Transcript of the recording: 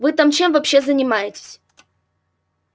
вы там чем вообще занимаетесь